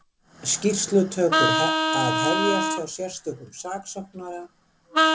Skýrslutökur að hefjast hjá sérstökum saksóknara